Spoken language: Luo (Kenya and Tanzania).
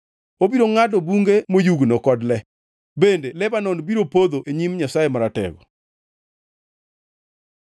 Obiro ngʼado bunge moyugno kod le; bende Lebanon biro podho e nyim, Nyasaye Maratego.